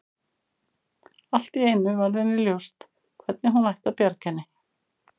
Allt í einu varð henni ljóst hvernig hún ætti að bjarga henni.